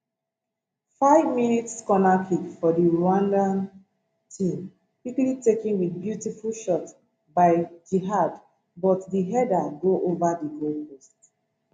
five mins corner kick for di rwandan team quickly taken wit beautiful shot by djihad but di header go ova di goalpost